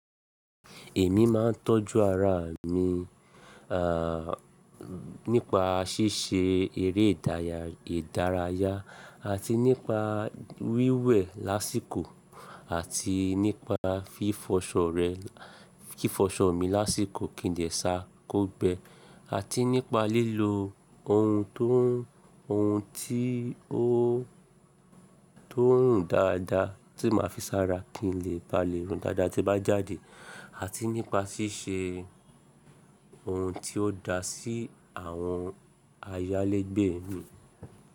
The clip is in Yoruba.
Èmi máa ń tọ́jú ara mi, à, nípa ṣíṣe eré ìdárayá àti nípa wíwẹ̀ lásìkò àti nípa fífọṣọ rẹ̀, kí fífọṣọ mi lásìkò kì í dẹ̀ sá kò gbẹ àti nípa lílo ohun tó n, ohun tí ó, tó ńrun dáadáa tí màá fi sára kí n lè ba lè rùn dáadáa tí bá jáde àti nípa ṣíṣe ohun tí ó da sí àwọn ayálégbé mi.